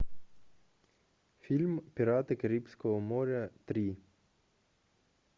фильм пираты карибского моря три